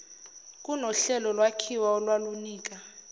kunohlelo lwakhiwa olwalunika